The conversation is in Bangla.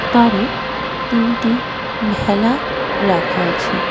পারে তিনটি ভেলা রাখা আছে.